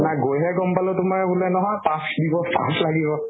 সেইদিনা গৈ হে গল পালো তোমাৰ বুলে নহয় pass দিব, pass লাগিব